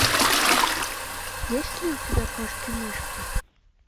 есть ли у тебя кошки мышки